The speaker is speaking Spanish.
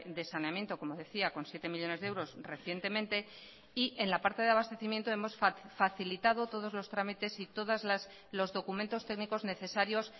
de saneamiento como decía con siete millónes de euros recientemente y en la parte de abastecimiento hemos facilitado todos los trámites y todos los documentos técnicos necesarios